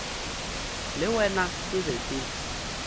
le wena ke be ke